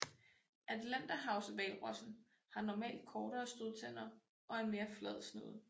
Atlanterhavshvalrossen har normalt kortere stødtænder og en mere flad snude